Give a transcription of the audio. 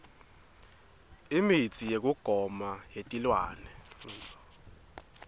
imitsi yekugoma yetilwane